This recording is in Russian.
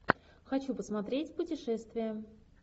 хочу посмотреть путешествия